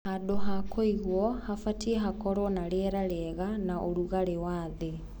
Handũ hakũigũo habatiĩ hakorwo na rĩera rĩega.na ũrugarĩ wathĩ.